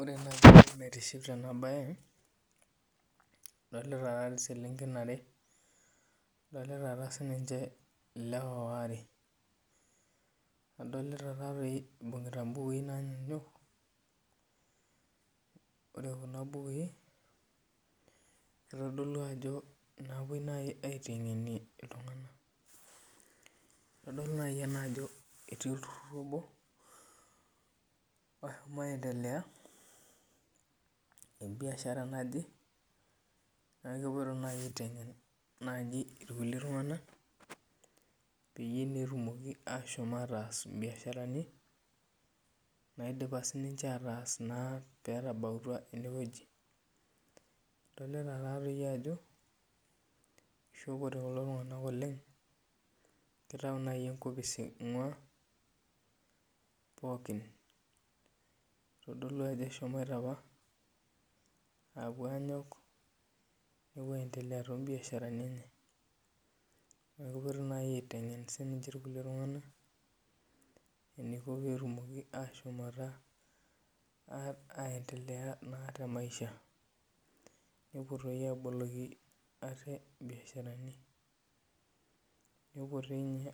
Ore naaji entoki naitiship tena bae, adolita taadei selenken are ,adolita siininche lewa waare .Adolita taadoi eibungita mbukui naanyanyuk, ore Kuna bukui kitodolu naaji ajo napoi aitengenie iltunganak .Kitodolu naaji ena ajo ketii olturur obo, oshomo aendelea te biashara naje ,neeku keloito naaji aitengen irkulie tunganak peyie etumoki naa ashom aatas mbiasharani naidipa siininche aatas naa pee etabautwa eneweji. Adolita taadoi ajo ,eishopote kulo tunganak oleng, kitayu naaji enkopis eingua pookin. Eitodolu ajo eshomoito apa apuo aanyok ,nepuo aendelea toombiasharani enye .Neeku kepoitoi naaji aitengen siininche irkulie tunganak eniko pee etumoki ashom aendelea temaisha .Nepuo doi aboloki ate mbiasharani, nepuo doi ninye